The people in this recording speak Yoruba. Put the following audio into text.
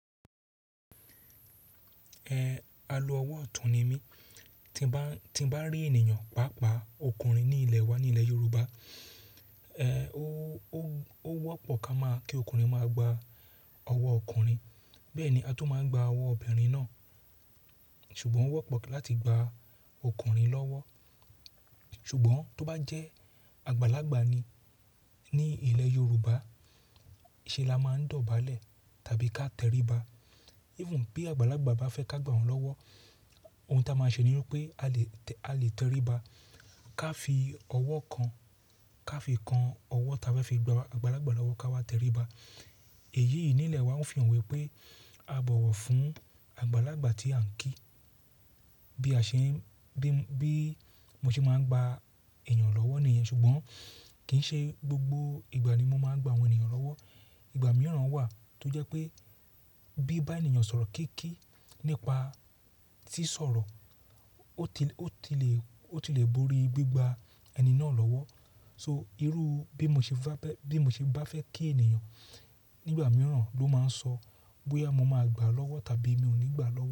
Ẹ, a lo ọwọ́ ọ̀tún ni mí. Tí ń bá, tí ń bá rí ènìyàn paapaa ọkùnrin ní ilẹ̀ wa, ní ilẹ̀ Yorùbá, ẹ, ó, ó, ó wọ́pọ̀ ká máa kí ọkùnrin máa gba ọwọ́ ọkùnrin. Bẹ́ẹ̀ ni a tún máa ń gba ọwọ́ obìnrin náà. Ṣùgbọ́n ó wọ́pọ̀ láti gba ọkùnrin lọ́wọ́. Ṣùgbọ́n tó bá jẹ́ àgbàlagbà ni, ní ilẹ̀ Yorùbá, ṣé la máa ń dọ̀bálẹ̀ tàbí ká tẹríba? Even bí àgbàlagbà bá fẹ́ ká gba òun lọ́wọ́, ohun tí a máa ṣe ni wípé a lè tẹ, a lè tẹríba ká fi ọwọ́ kan, ká fi kan ọwọ́ táa bá fi gba àgbàlagbà lọ́wọ́ ká wá tẹríba. Èyí yìí ní ilẹ̀ wa ń fi hàn wípé a bọ̀wọ̀ fún àgbàlagbà tí à ń kí. Bí a ṣe ń, bí, bí mo ṣe máa ń gba ènìyàn lọ́wọ́ ni ìyẹn, ṣùgbọ́n kì í ṣe gbogbo ìgbà ni mo máa ń gba àwọn ènìyàn lọ́wọ́. Ìgbà mìíràn wà tó jẹ́ pé bí bá ènìyàn sọ̀rọ̀ kííkíí nípa tí sọ̀rọ̀, ó ti lè, ó ti lè, ó ti lè borí gbígba ẹni náà lọ́wọ́. So irú bí mo ṣe bá bẹ́, bí mo ṣe bá fẹ́ kí ènìyàn nígbà mìíràn ló máa ń sọ bóyá mo máa gbà á lọ́wọ́ tàbí mi ò ní gbà á lọ́wọ́